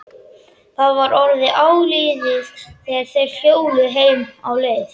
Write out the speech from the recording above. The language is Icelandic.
Það var orðið áliðið þegar þeir hjóluðu heim á leið.